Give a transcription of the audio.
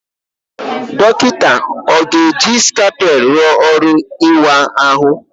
Dọkịta ọ ga-eji scalpel rụọ ọrụ ịwa ahụ?